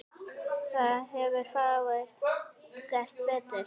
Þar hefðu fáir gert betur.